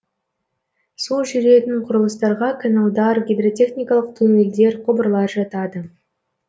су жүретін құрылыстарға каналдар гидротехникалық туннельдер құбырлар жатады